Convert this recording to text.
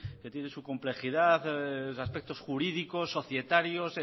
que tiene su complejidad aspectos jurídicos societarios